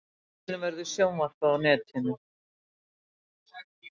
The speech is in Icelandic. Fundinum verður sjónvarpað á netinu